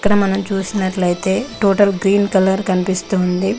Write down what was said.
ఇక్కడ మనం చూసినట్లయితే టోటల్ గ్రీన్ కలర్ కనిపిస్తుంది.